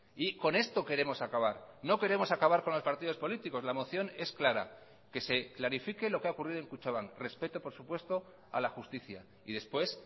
y con esto queremos acabar no queremos acabar con los partidos políticos la moción es clara que se clarifique lo que ha ocurrido en kutxabank respeto por supuesto a la justicia y después